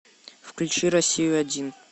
включи россию один